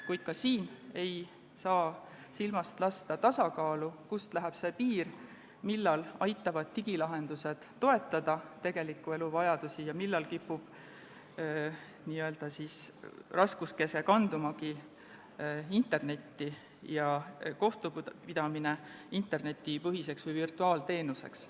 Kuid ka siin ei tohi silmast lasta tasakaalu, kust läheb see piir, millal aitavad digilahendused toetada tegeliku elu vajaduste rahuldamist ning millal kipub raskuskese kanduma internetti ja kohtupidamine hakkab muutuma internetipõhiseks või virtuaalteenuseks.